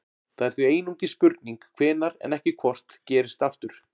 Það er því einungis spurning hvenær en ekki hvort gerist aftur.